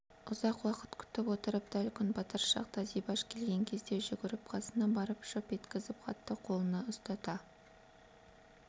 ұзақ күтіп отырып дәл күн батар шақта зибаш келген кезде жүгіріп қасына барып жып еткізіп хатты қолына ұстата